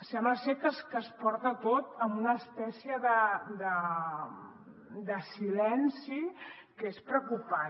sembla ser que es porta tot amb una espècie de silenci que és preocupant